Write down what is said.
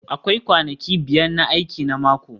Akwai kwanaki biyar na aiki na mako